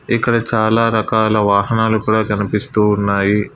ఇక్కడ చాలా రకాల వాహనాలు కూడా కనిపిస్తూ ఉన్నాయి.